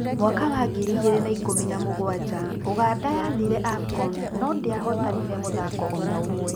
Mwaka wa ngiri igĩrĩ na ikũmi na mũgwanja uganda yathiire afcon no-ndĩahotanire mũthako ona ũmwe